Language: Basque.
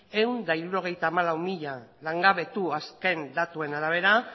ehun eta hirurogeita hamalau mila langabetu azken datuen arabera